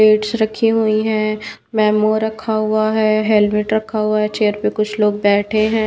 Plates रखी हुई है मेमो रखा हुआ है हेलमेट रखा हुआ है चेयर पे कुछ लोग बैठे हैं।